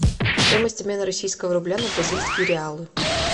стоимость обмена российского рубля на бразильские реалы